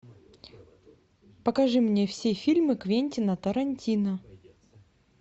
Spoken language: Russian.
покажи мне все фильмы квентина тарантино